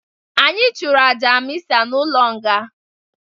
Anyi chụrụ aja mịsa n'ụlọ nga.